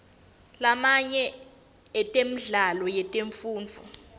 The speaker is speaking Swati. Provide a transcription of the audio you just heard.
lamanye emidlalo yetemfundvo